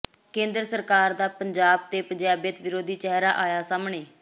ਕੇਂਦਰ ਸਰਕਾਰ ਦਾ ਪੰਜਾਬ ਤੇ ਪੰਜਾਬੀਅਤ ਵਿਰੋਧੀ ਚਿਹਰਾ ਆਇਆ ਸਾਹਮਣੇ